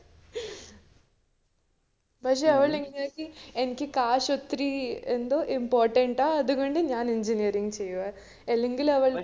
പക്ഷെ അവള് എനിക്ക് cash ഒത്തിരി എന്തോ important ആ അതുകൊണ്ട് ഞാൻ engineering ചെയ്യൂആ